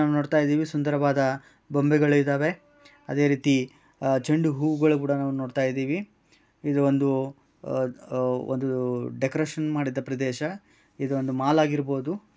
ನಾವು ನೋಡ್ತಾ ಇದ್ದೀವಿ ಸುಂದರವಾದ ಬೊಂಬೆಗಳಿದಾವೆ ಅದೇ ರೀತಿ ಚಂಡು ಹೂಗಳನ್ನು ಕೂಡ ನಾವು ನೋಡ್ತಾ ಇದ್ದೀವಿ ಇದು ಒಂದು ಡೆಕೋರೇಷನ್ ಮಾಡಿದ ಪ್ರದೇಶ ಇದು ಒಂದು ಮಾಲ್ ಆಗಿರಬಹುದು.